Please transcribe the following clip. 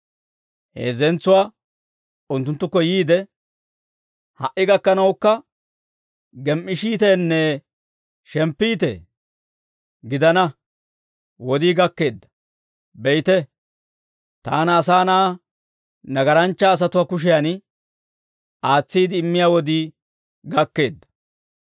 Heezzentsuwaa unttunttukko yiide, «Ha"i gakkanawukka gem"ishiiteenne shemppiitee? Gidana; wodii gakkeedda; be'ite, taana, Asaa Na'aa, nagaranchcha asatuwaa kushiyaan aatsiide immiyaa wodii gakkeedda.